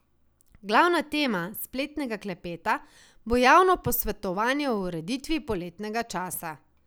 Glavna tema spletnega klepeta bo javno posvetovanje o ureditvi poletnega časa.